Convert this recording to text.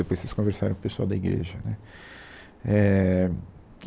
Depois vocês conversarem com o pessoal da igreja, né. Éh